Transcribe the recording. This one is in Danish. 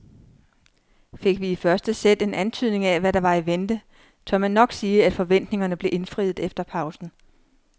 Fik vi i første sæt en antydning af hvad der var i vente, tør man nok sige at forventningerne blev indfriet efter pausen.